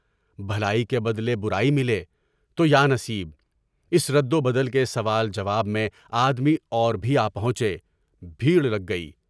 بھلائی کے بدلے برائی ملے تو یا نصیب اس رد و بدل کے سوال جواب میں آدمی اور بھی آپہنچے، بھیڑ لگ گئی۔